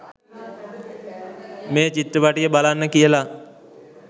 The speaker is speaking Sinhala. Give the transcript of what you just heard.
මේ චිත්‍රපටය බලන්න කියල